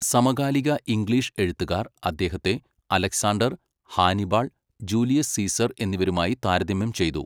സമകാലിക ഇംഗ്ലീഷ് എഴുത്തുകാർ അദ്ദേഹത്തെ അലക്സാണ്ടർ, ഹാനിബാൾ, ജൂലിയസ് സീസർ എന്നിവരുമായി താരതമ്യം ചെയ്തു.